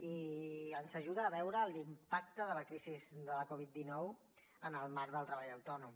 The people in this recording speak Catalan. i ens ajuda a veure l’impacte de la crisi de la covid dinou en el marc del treball autònom